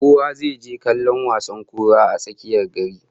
Kowa zai je kallon wasan kalankuwar a tsakiyar gari